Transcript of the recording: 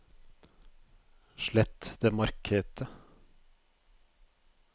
slett det markete